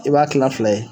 I b'a kila fila ye